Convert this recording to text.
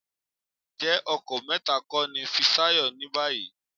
Ǹjẹ́ ọkọ mẹ́ta kọ́ ni Fisáyọ̀ ní báyìí?